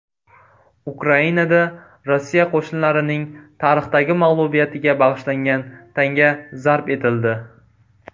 Ukrainada Rossiya qo‘shinlarining tarixdagi mag‘lubiyatiga bag‘ishlangan tanga zarb etildi.